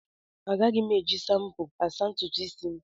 Agaghị m eji shampo asa ntutu isi m.